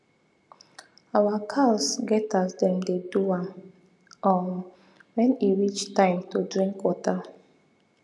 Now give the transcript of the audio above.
our cows get as them dey do am um when e reach time to drink water